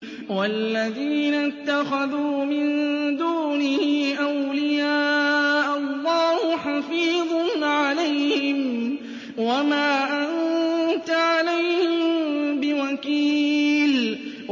وَالَّذِينَ اتَّخَذُوا مِن دُونِهِ أَوْلِيَاءَ اللَّهُ حَفِيظٌ عَلَيْهِمْ وَمَا أَنتَ عَلَيْهِم بِوَكِيلٍ